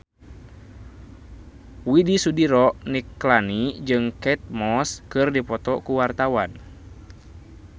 Widy Soediro Nichlany jeung Kate Moss keur dipoto ku wartawan